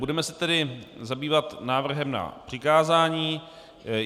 Budeme se tedy zabývat návrhem na přikázání.